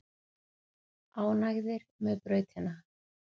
Ánægðir með brautina